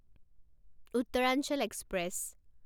Uttaranchal express